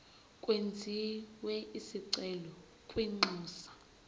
kwenziwe isicelo kwinxusa